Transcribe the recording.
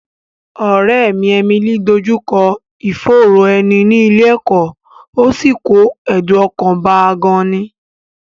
Ọ̀rẹ́ mi Emily dójú kọ ìfòòró ẹni ní ilé ẹ̀kọ́, ó sì kó ẹ̀dùn ọkàn bá a gan-an